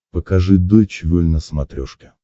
покажи дойч вель на смотрешке